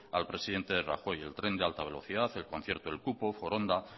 al presidente rajoy el tren de alta velocidad el concierto el cupo foronda